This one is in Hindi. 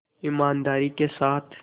ईमानदारी के साथ